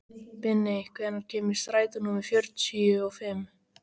Binni, hvenær kemur strætó númer fjörutíu og fimm?